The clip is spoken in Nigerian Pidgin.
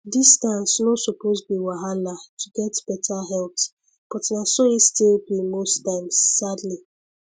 distance no suppose be wahala to get better health but na so e still be most times sadly